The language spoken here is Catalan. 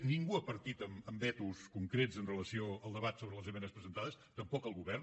ningú ha partit amb vetos concrets amb relació al debat sobre les esmenes presentades tampoc el govern